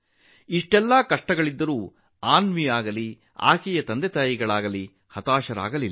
ಇಷ್ಟೆಲ್ಲಾ ಕಷ್ಟಗಳಿದ್ದರೂ ಅನ್ವಿಯಾಗಲಿ ಆಕೆಯ ತಂದೆ ತಾಯಿಯಾಗಲಿ ಹತಾಶರಾಗಲಿಲ್ಲ